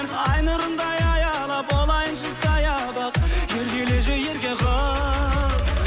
ай нұрындай аялап болайыншы саябақ еркелеші ерке қыз